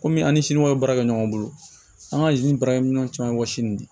Komi an ni siniwaw bɛ baara kɛ ɲɔgɔn bolo an ka baarakɛminɛnw caman wɔsi nin de